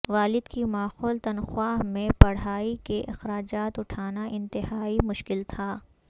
والد کی معقول تنخواہ میں پڑھائی کے اخراجات اٹھانا انتہائی مشکل تھا